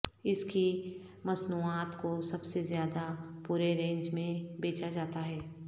اس کی مصنوعات کو سب سے زیادہ پورے رینج میں بیچا جاتا ہے